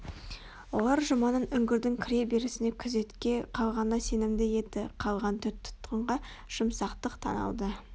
олар жұманың үңгірдің кіре берісінде күзетке қалғанына сенімді еді қалған төрт тұтқынға жұмсақтық танытылды